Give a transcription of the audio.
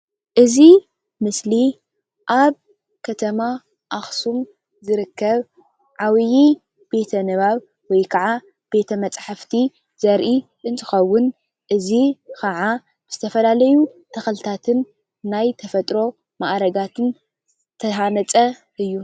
እዚ ምስሊ ኣብ ከተማ አክሱም ዝርከብ ዓቢይ ቤተ-ንባብ ወይ ከዓ ቤተ-መፃሕፍቲ ዘርኢ እንትኸውን እዚ ከዓ ዝተፈላለዩ ተኽልታት ናይ ተፈጥሮ ማእርጋትን ዝተሃነፀ እዩ።